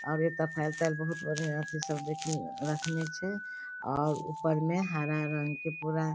आबे ते फाइल ताइल बहुत बढ़िया छै सब देखी रखने छै और ऊपर मे हरा रंग के पूरा --